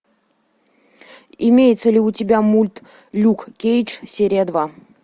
имеется ли у тебя мульт люк кейдж серия два